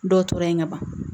Dɔw tora yen ka ban